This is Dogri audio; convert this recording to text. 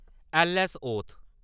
ऐल्ल.ऐस्स.-ओथ